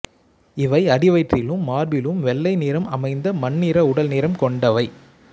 இவை அடிவயிற்றிலும் மார்பிலும் வெள்ளை நிறம் அமைந்த மண்ணிற உடல் நிறம் கொண்டவை